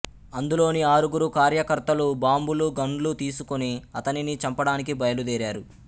అందులోని ఆరుగురు కార్యకర్తలు బాంబులు గన్లు తీసుకుని అతనిని చంపడానికి బయలుదేరారు